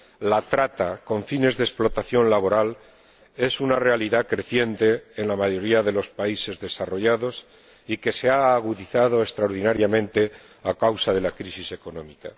La trata con fines de explotación laboral es una realidad creciente en la mayoría de los países desarrollados que se ha agudizado extraordinariamente a causa de la crisis económica.